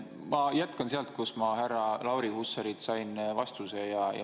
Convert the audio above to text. Ma jätkan sellest, mille kohta ma härra Lauri Hussarilt vastuse sain.